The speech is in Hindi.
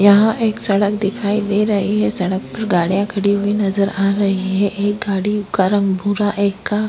यहाँ एक सडक दिखाई दे रही है सडक पर गाड़ियां खड़ी हुई नजर आ रही है एक गाडी का रंग भूरा एक का --